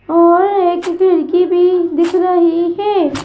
और एक खिड़की भी दिख रही है.